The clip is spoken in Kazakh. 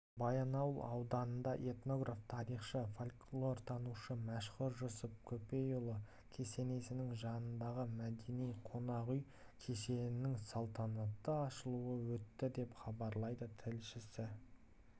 баянауыл ауданында этнограф тарихшы фольклортанушы мәшһүр жүсіп көпейұлы кесенесінің жанындағы мәдени-қонақ үй кешенінің салтанатты ашылуы өтті деп хабарлайды тілшісі